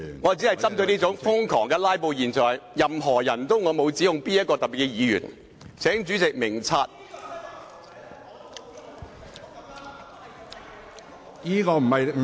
我只是針對瘋狂"拉布"的現象，沒有特別指控某位議員，請主席明察。